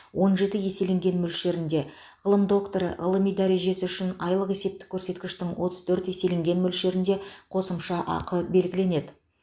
он жеті еселенген мөлшерінде ғылым докторы ғылыми дәрежесі үшін айлық есептік көрсеткіштің отыз төрт еселенген мөлшерінде қосымша ақы белгіленеді